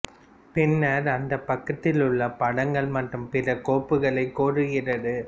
பின்னர் அந்தப் பக்கத்தில் உள்ள படங்கள் மற்றும் பிற கோப்புகளைக் கோருகிறது